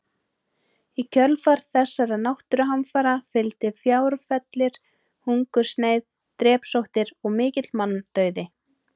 Í kjölfar þessara náttúruhamfara fylgdi fjárfellir, hungursneyð, drepsóttir og mikill manndauði.